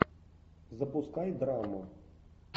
запускай драму